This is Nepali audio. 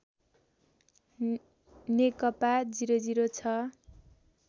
नेकपा ००६